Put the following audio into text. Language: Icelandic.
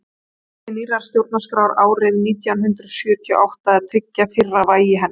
það beið nýrrar stjórnarskrár árið nítján hundrað sjötíu og átta að tryggja fyrra vægi hennar